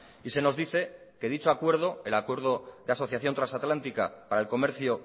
y se nos dice que dicho acuerdo el acuerdo de asociación trasatlántica para el comercio